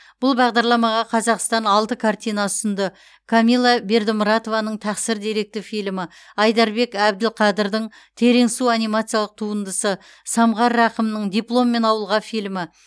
бұл бағдарламаға қазақстан алты картина ұсынды камилла бердімұратованың тақсыр деректі фильмі айдарбек әбділқадырдың терең су анимациялық туындысы самғар рақымның дипломмен ауылға фильмі